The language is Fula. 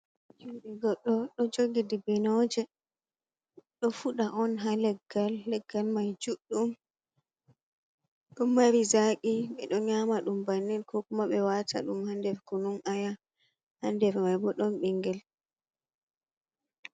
Jungo goɗɗo ɗo jogi dibinooje. Ɗo fuɗa on haa leggal, leggal mai juɗɗum, ɗo mari zaaqi. Ɓe ɗo nyama ɗum bannin ko kuma ɓe waata ɗum haa nder kunun aya. Haa nder maibo, ɗon ɓinngel.